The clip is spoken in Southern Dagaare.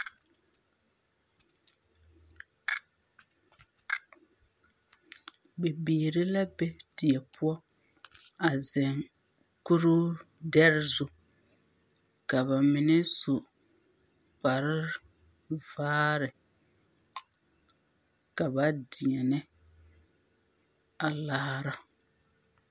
Bibiiri la be die poɔ a zeŋ kuruu dɛre zu. Ka ba mine su kpare vaare ka ba deɛnɛ a laara.